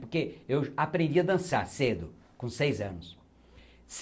Porque eu aprendi a dançar cedo, com seis anos.